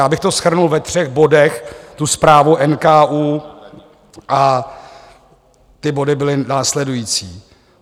Já bych to shrnul ve třech bodech, tu zprávu NKÚ a ty body jsou následující.